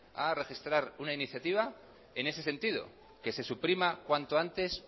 una iniciativa en ese sentido que se suprima cuanto antes